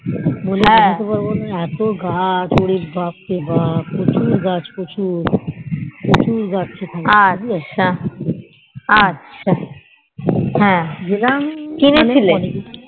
এতো গাছ ওরে বাপ রে বাপ্ প্রচুর গাছ প্রচুর প্রচুর গাছ ওখানে গেলাম